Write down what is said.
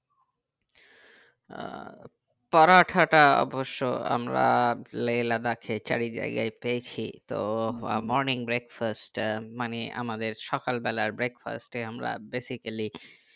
আহ পরাঠা তা অবশই আমরা লে লাদাখ এ চারি জায়গায় পেয়েছি তো morning breakfast আহ মানে আমাদের সকাল বেলার breakfast এ আমরা basically